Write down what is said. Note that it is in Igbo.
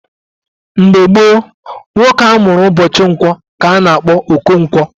Mgbe gboo, nwoke a mụrụ ụbọchị nkwọ ka a na-akpọ Okonkwo.